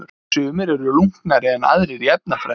Sumir eru lunknari en aðrir í efnafræði.